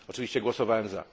Oczywiście głosowałem za.